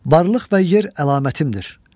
Varlıq və yer əlamətimdir.